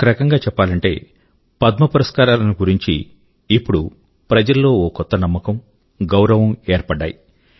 ఒక రకంగా చెప్పాలంటే పద్మ పురస్కారాల ను గురించి ఇప్పుడు ప్రజల్లో ఒక కొత్త నమ్మకం గౌరవం ఏర్పడ్డాయి